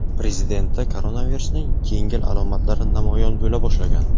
Prezidentda koronavirusning yengil alomatlari namoyon bo‘la boshlagan.